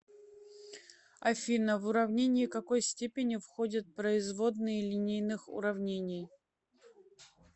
афина в уравнение какой степени входят производные линейных уравнений